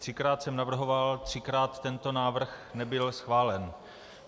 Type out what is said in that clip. Třikrát jsem navrhoval, třikrát tento návrh nebyl schválen.